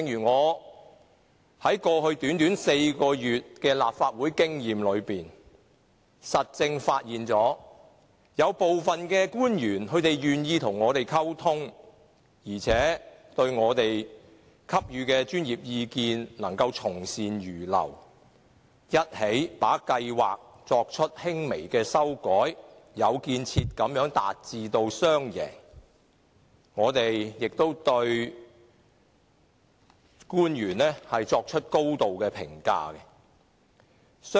我在過去短短4個月的立法會經驗中實證發現，有部分官員願意與我們溝通，而且對我們給予的專業意見從善如流，一起把計劃作出輕微修改，有建設地達致雙贏，我們對官員作出高度評價。